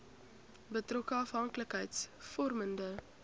betrokke afhanklikheids vormende